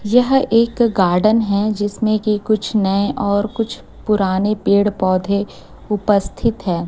यह एक गार्डन है जिसमें की कुछ नए और कुछ पुराने पेड़ पौधे उपस्थित है।